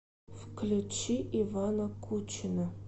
включи ивана кучина